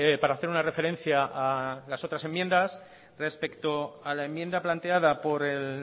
para hacer una referencia a las otras enmiendas respecto a la enmienda planteada por el